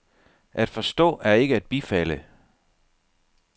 At forstå er ikke at bifalde.